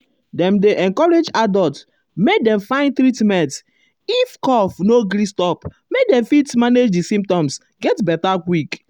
dem dey um encourage adults make dem find treatment um if cough no gree stop make dem fit manage di symptoms get beta quick.